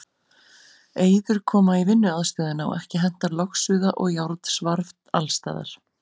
Eyður koma í vinnuaðstöðuna og ekki hentar logsuða og járnsvarf alls staðar.